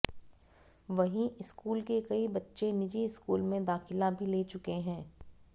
वहीं स्कूल के कई बच्चे निजी स्कूल में दाखिला भी ले चुके हैं